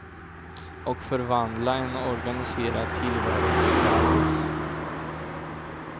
Och förvandla en organiserad tillvaro till kaos.